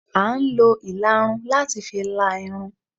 À n lo illarún latí fí lá Irún